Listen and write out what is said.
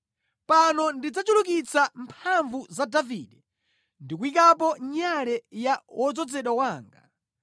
“Pano ndidzachulukitsa mphamvu za Davide ndi kuyikapo nyale ya wodzozedwa wanga.